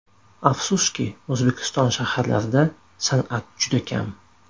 Afsuski, O‘zbekiston shaharlarida san’at juda kam.